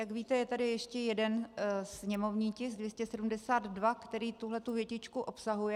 Jak víte, je tady ještě jeden sněmovní tisk 272, který tuhletu větičku obsahuje.